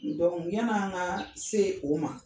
yann'an ka se o ma